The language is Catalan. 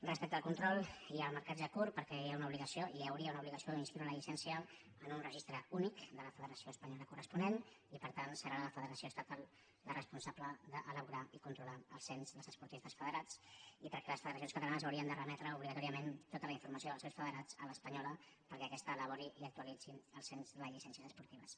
respecte al control i al marcatge curt perquè hi ha una obligació hi hauria una obligació d’inscriure la llicència en un registre únic de la federació espanyola corresponent i per tant serà la federació estatal la res·ponsable d’elaborar i controlar el cens dels esportistes federats i perquè les federacions catalanes haurien de remetre obligatòriament tota la informació dels seus federats a l’espanyola perquè aquesta elabori i actua·litzi el cens de les llicències esportives